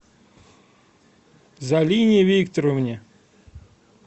залине викторовне